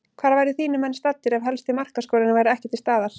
Hvar væru þínir menn staddir ef helsti markaskorarinn væri ekki til staðar?